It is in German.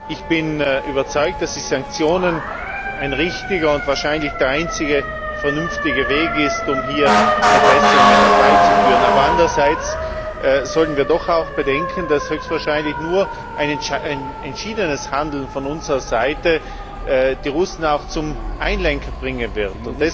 Ich bin überzeugt, dass die Sanktionen ein richtiger und wahrscheinlich der einzige vernünftige Weg sind, um hier Verbesserungen herbeizuführen. Aber andererseits sollten wir doch auch bedenken, dass höchstwahrscheinlich nur ein entschiedenes Handeln von unserer Seite die Russen auch zum Einlenken bringen wird.